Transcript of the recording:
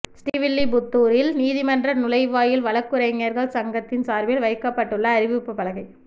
ஸ்ரீவில்லிபுத்தூரில் நீதிமன்ற நுழைவாயில் வழக்குரைஞர்கள் சங்கத்தின் சார்பில் வைக்கப்பட்டுள்ள அறிவிப்புப் பலகை